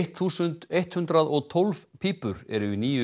þúsund eitt hundrað og tólf pípur eru í nýju